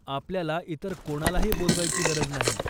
आपल्याला इतर कोणालाही बोलवायची गरज नाही.